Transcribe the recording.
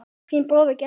Þinn bróðir, Gestur.